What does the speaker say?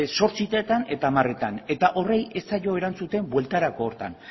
zortzietan eta hamarretan eta horri ez zaio erantzuten bueltarako horretan